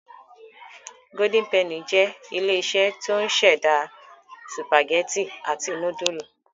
Golden penny jẹ́ ilé-iṣẹ́ tó ń ṣẹ̀dá sìpàgẹ́tì àti núdúlù.